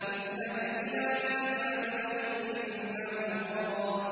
اذْهَبْ إِلَىٰ فِرْعَوْنَ إِنَّهُ طَغَىٰ